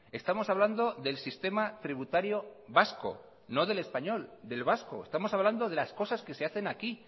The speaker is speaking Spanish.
estamos hablando del sistema tributario vasco no del español del vasco estamos hablando de las cosas que se hacen aquí